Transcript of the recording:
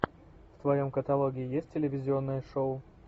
в твоем каталоге есть телевизионное шоу